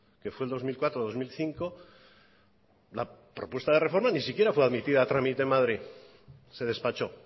que fue el dos mil cuatro dos mil cinco la propuesta de reforma ni siquiera fue admitida a trámite en madrid se despachó